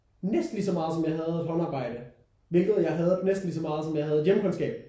Næsten lige så meget som jeg hadede håndarbejde hvilket jeg hadet næsten lige så meget som jeg hadede hjemkundskab